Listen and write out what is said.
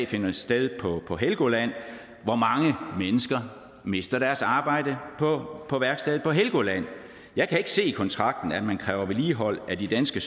finder sted på helgoland hvor mange mennesker mister deres arbejde på på værkstedet på helgoland jeg kan ikke se i kontrakten at man kræver vedligehold af de danske